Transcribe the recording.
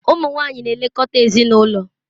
Ụmụ nwanyị na-elekọta ezinụlọ